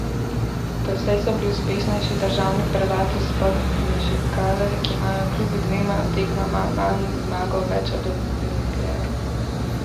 Doslej so bili uspešnejši državni prvaki iz Podmežakle, ki imajo kljub dvema tekmama manj zmago več od Olimpije.